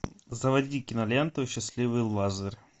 заводи киноленту счастливый лазер